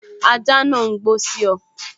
Ajá náà n gbó sí ọ